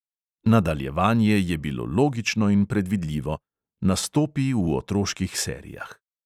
Nadaljevanje je bilo logično in predvidljivo: nastopi v otroških serijah.